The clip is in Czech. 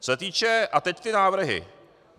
Co se týče - a teď ty návrhy.